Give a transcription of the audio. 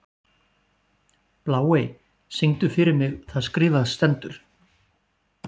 Bláey, syngdu fyrir mig „Það skrifað stendur“.